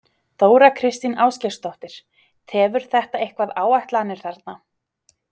Þóra Kristín Ásgeirsdóttir: Tefur þetta eitthvað áætlanir þarna?